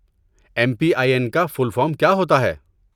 M P I N کا full form کیا ہوتا ہے؟